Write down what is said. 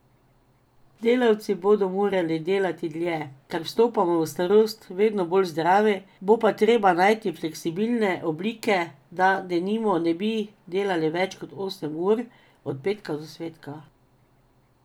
Delavci bodo morali delati dlje, ker vstopamo v starost vedno bolj zdravi, bo pa treba najti fleksibilne oblike, da denimo ne bi delali več osem ur, od petka do svetka.